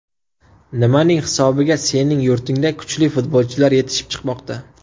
Nimaning hisobiga sening yurtingda kuchli futbolchilar yetishib chiqmoqda?